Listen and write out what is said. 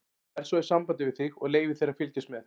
Ég verð svo í sambandi við þig og leyfi þér að fylgjast með.